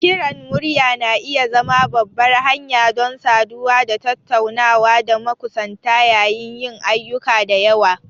Kiran murya na iya zama babbar hanya don saduwa da tattunawa da makusanta yayin yin ayyuka da yawa.